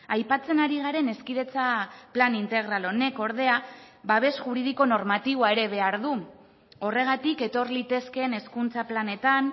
aipatzen ari garen hezkidetza plan integral honek ordea babes juridiko normatiboa ere behar du horregatik etor litezkeen hezkuntza planetan